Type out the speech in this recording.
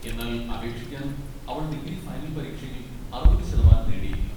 എന്നാൽ അപേക്ഷിക്കാൻ അവൾ ഡിഗ്രി ഫൈനൽ പരീക്ഷയിൽ അറുപത് ശതമാനം നേടിയിരിക്കണം.